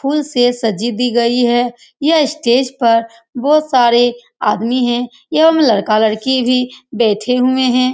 फूलों से सजी दी गई है यह स्टेज पर बहुत सारे आदमी है लड़का-लड़की भी बैठे हुए हैं।